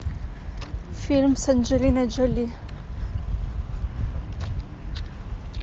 фильм с анджелиной джоли